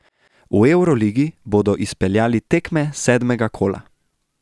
V evroligi bodo izpeljali tekme sedmega kola.